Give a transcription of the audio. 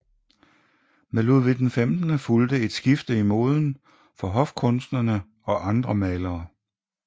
Med Ludvig 15 fulgte et skifte i moden for hofkunstnerne og andre malere